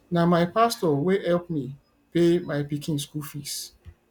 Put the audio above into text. na my pastor wey help me pay my pikin school fees